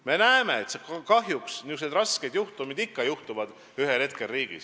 Me näeme, et kahjuks niisugused rasked juhtumid ühel hetkel võivad riigis tekkida.